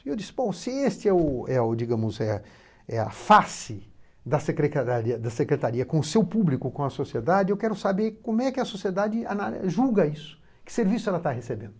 E eu disse, bom, se este é o, é o, digamos é é a face da Secrecadaria, da secretaria com o seu público, com a sociedade, eu quero saber como é que a sociedade ana... julga isso, que serviço ela está recebendo.